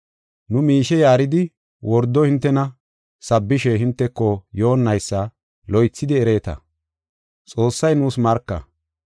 Nu miishe yaaridi wordo hintena sabbishe hinteko yoonnaysa loythidi ereeta; Xoossay nuus marka.